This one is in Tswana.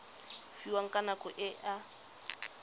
fiwang ka nako e a